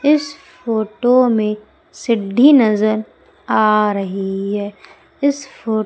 इस फोटो में सिद्धि नजर आ रही है इस--